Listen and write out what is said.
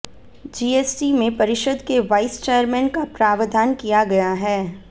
GST में परिषद के वाइस चेयरमैन का प्रावधान किया गया है